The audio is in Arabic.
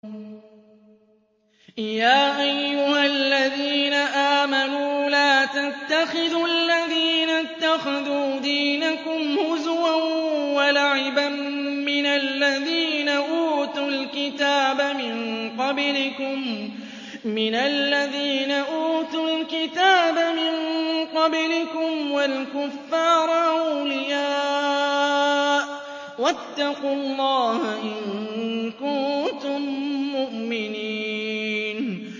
يَا أَيُّهَا الَّذِينَ آمَنُوا لَا تَتَّخِذُوا الَّذِينَ اتَّخَذُوا دِينَكُمْ هُزُوًا وَلَعِبًا مِّنَ الَّذِينَ أُوتُوا الْكِتَابَ مِن قَبْلِكُمْ وَالْكُفَّارَ أَوْلِيَاءَ ۚ وَاتَّقُوا اللَّهَ إِن كُنتُم مُّؤْمِنِينَ